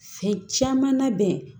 Fɛn caman labɛn